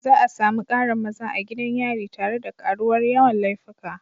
Za a sami ƙarin maza a gidan yari tare da karuwar yawan laifuka.